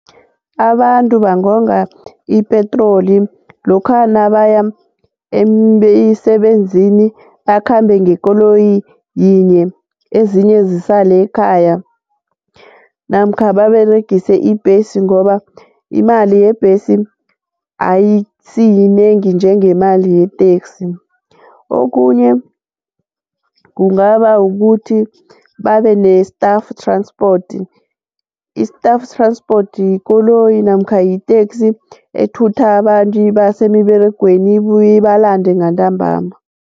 Abantu bangonga ipetroli lokha nabaya emisebenzini akhambe ngekoloyi yinye ezinye zisale ekhaya namkha baberegise ibhesi ngoba imali yebhesi ayisiyinengi njengemali yeteksi okunye kungaba kukuthi babe ne-staff transport, i-staff transport yikoloyi namkha yiteksi ethutha abantu ibase emiberegweni ibuye balande ngantambama.